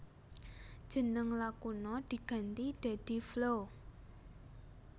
Jeneng Lakuna diganti dadi Flow